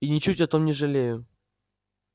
и ничуть о том не жалею